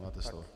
Máte slovo.